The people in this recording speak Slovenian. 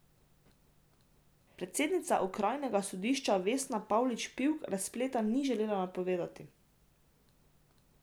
Predsednica okrajnega sodišča Vesna Pavlič Pivk razpleta ni želela napovedovati.